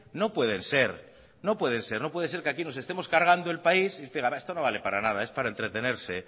no pueden ser no pueden ser no puede ser que aquí nos estemos cargando el país y usted diga esto no vale para nada es para entretenerse